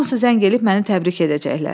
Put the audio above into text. Hamısı zəng eləyib məni təbrik edəcəklər.